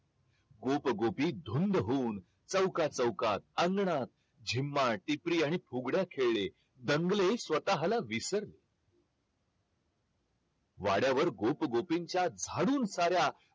गोप गोपी धुंध होऊन चौका चौकात अंगणात झिम्मा टिपरी आणि फुगड्या खेळले दंगले स्वतःला विसरले वाड्यावर गोप गोपींच्या झाडून साऱ्या